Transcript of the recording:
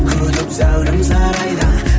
күтіп зәулім сарайда